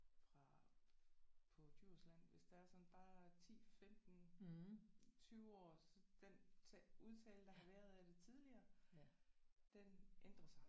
Fra på Djursland hvis der er sådan bare 10 15 20 år så den udtale der har været af det tidligere den ændrer sig